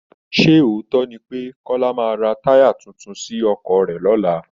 Sé òótọ́ ni pé Kọ́lá maá ra táyà tuntun sí ọkọ̀ rẹ̀ lọ́la